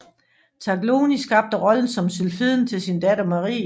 Taglioni skabte rollen som sylfiden til sin datter Marie